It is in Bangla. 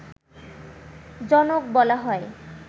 জনক বলা হয়